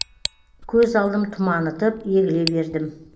көз алдым тұманытып егіле бердім